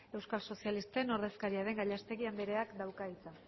euskal sozialisten ordezkaria den gallastegui andereak dauka hitza